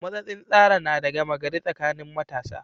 Matsatsin tsara na da gama gari tsakanin matasa.